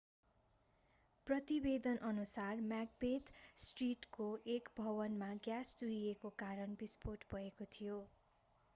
प्रतिवेदनअनुसार Macbeth स्ट्रिटको एक भवनमा ग्याँस चुहिएको कारण विस्फोट भएको थियो